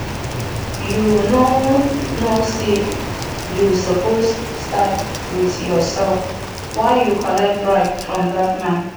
you no know say you suppose start with yourself why you collect bribe from dat man